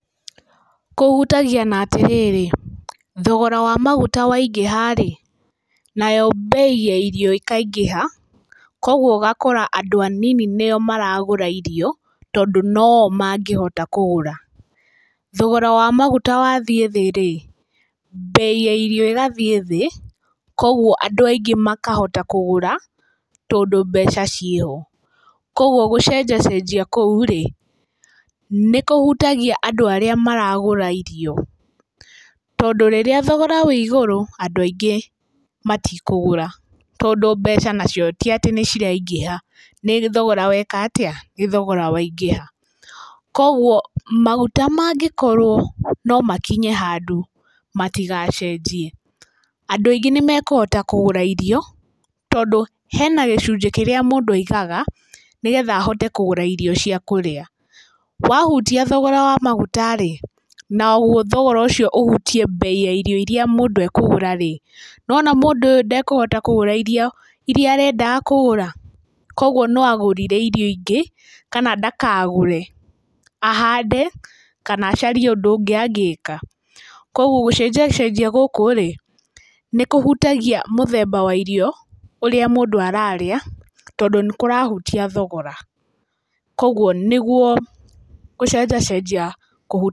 Kũhutagia na atĩrĩrĩ, thogora wa maguta waingiha rĩ, nayo mbei ya irio ikaingĩha, koguo ũgakora andũ anini nĩo maragũra irio, tondũ no o mangĩhota kũgũra. Thogora wa maguta wathiĩ thĩ rĩ, mbei ya irio igathiĩ thĩ, koguo andũ aingĩ makahota kũgũra, tondũ mbeca ciĩho. Koguo gũcenjacenjia kũu nĩkũhutagia andũ arĩa maragũra irio. Tondũ rĩrĩa thogora ũrĩ igũrũ andũ aingĩ matikũgũra, tondũ mbeca nacio ti atĩ nĩiraingĩha nĩ thogora weka atĩa? nĩ thogora waingĩha. Koguo maguta mangĩkorwo no makinye handũ matigacenjie, andũ aingĩ nĩmekũhota kũgũra irio, tondũ hena gĩcunjĩ kĩrĩa mũndũ aigaga, nĩgetha ahote kũgũra irio cia kũrĩa. Wahutia thogora wa maguta, naguo thogora ũcio ũhutie mbei ya irio iria mũndũ ekũgũra-rĩ, nĩ wona mũndũ ũyũ ndakũhota kũgũra irio iria arendaga kũgũra. Koguo no agũrire irio ingĩ kana ndakagũre, ahande kana acarie ũndũ ũngĩ angĩka. Koguo gũcenjecenjia gũkũ nĩkũhutagia mũthemba wa irio ũrĩa mũndũ ararĩa, tondũ nĩkũrahutia thogora, koguo nĩguo gũcenjecenjia kũ...